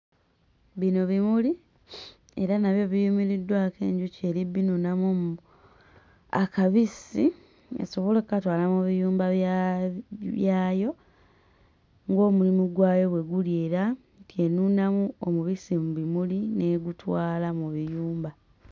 Bino bimuli era nabyo biyimiriddwako enjuki eri bbinuunamu omu akabisi esobole okkatwala mu biyumba bya byayo ng'omulimu gwayo bwe guli era nti enuunamu omubisi mu bimuli n'egutwala mu biyumba.